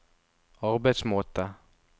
arbeidsmåte